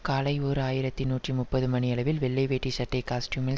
காலை ஓர் ஆயிரத்தி நூற்றி முப்பது மணியளவில் வெள்ளை வேட்டி சட்டை காஸ்ட்யூமில்